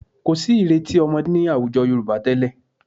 Kò sí ìrètí ọmọdé ní àwùjọ Yorùbá tẹ́lẹ̀